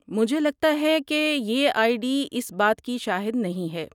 مجھے لگتا ہے کہ یہ آئی ڈی اس بات کی شاہد نہیں ہے۔